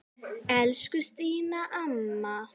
Elsku Stína amma.